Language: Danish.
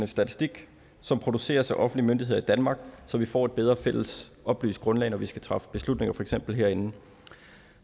statistik som produceres af offentlige myndigheder i danmark så vi får et bedre fælles oplyst grundlag når vi skal træffe beslutninger for eksempel herinde